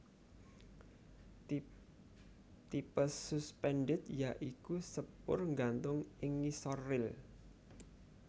Tipe suspended ya iku sepur nggantung ing ngisor ril